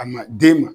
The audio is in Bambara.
A ma den ma